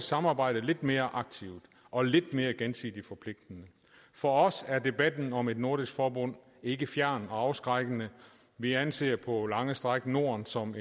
samarbejde lidt mere aktivt og lidt mere gensidigt forpligtende for os er debatten om et nordisk forbund ikke fjern og afskrækkende vi anser på lange stræk norden som